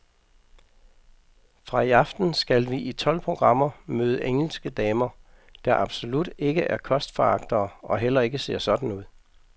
Fra i aften skal vi i tolv programmer møde to engelske damer, der absolut ikke er kostforagtere og heller ikke ser sådan ud.